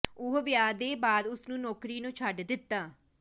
ਉਹ ਵਿਆਹ ਦੇ ਬਾਅਦ ਉਸ ਨੂੰ ਨੌਕਰੀ ਨੂੰ ਛੱਡ ਦਿੱਤਾ